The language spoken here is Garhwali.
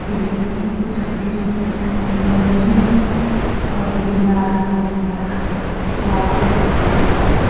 गिरिल लगीं येक पिछां गिरिल छत बिटिन रडीकी और ये लाल होलू फरा लाइट हर इक पर पे --